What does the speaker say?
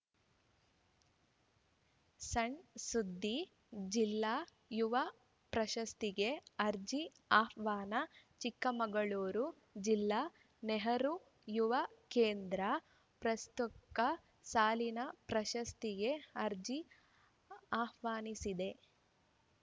ಸಣ್‌ ಸುದ್ದಿ ಜಿಲ್ಲಾ ಯುವ ಪ್ರಶಸ್ತಿಗೆ ಅರ್ಜಿ ಆಹ್ವಾನ ಚಿಕ್ಕಮಗಳೂರು ಜಿಲ್ಲಾ ನೆಹರು ಯುವ ಕೇಂದ್ರ ಪ್ರಸ್ತುಕ್ತ ಸಾಲಿನ ಪ್ರಶಸ್ತಿಗೆ ಅರ್ಜಿ ಆಹ್ವಾನಿಸಿದೆ